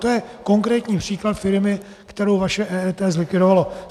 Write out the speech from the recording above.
To je konkrétní případ firmy, kterou vaše EET zlikvidovalo.